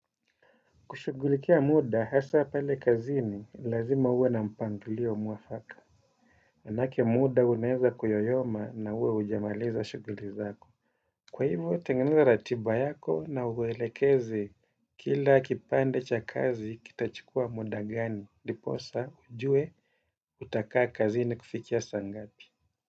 Kushughulikia muda hasa pale kazini lazima uwe na mpangilio mwafaka manake muda unaweza kuyoyoma na uwe hujamaliza shughuli zako kwa hivo, tengeneza ratiba yako na uwelekeze kila kipande cha kazi kitachukua muda gani ndiposa ujue utakaa kazini kufikia saa ngapi.